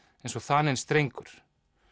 eins og þaninn strengur